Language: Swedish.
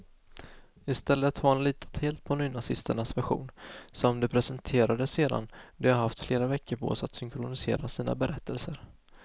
I stället har han litat helt på nynazisternas version, som de presenterade sedan de haft flera veckor på sig att synkronisera sina berättelser.